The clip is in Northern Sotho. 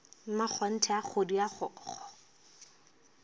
mmakgonthe a kgodi a kgokgo